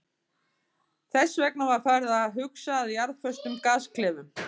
Þess vegna var farið að huga að jarðföstum gasklefum.